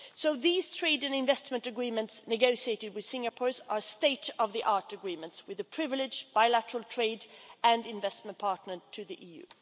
So these trade and investment agreements negotiated with Singapore are state of the art agreements with a privileged bilateral trade and investment partner to the EU.